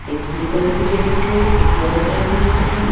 एक blue colour की jacket है एक येलो कलर की जैकेट है।